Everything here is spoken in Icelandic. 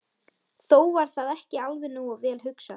Þó var það ekki alveg nógu vel hugsað.